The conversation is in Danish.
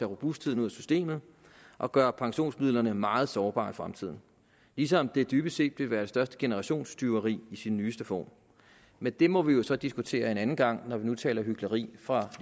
robustheden ud af systemet og gøre pensionsmidlerne meget sårbare i fremtiden ligesom det dybest set vil være det største generationstyveri i sin nyeste form men det må vi jo så diskutere en anden gang når vi nu taler hykleri fra